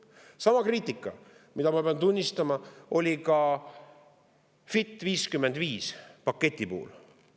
Sama kriitika, mida ma pean tunnistama, oli ka "Fit for 55" paketi puhul.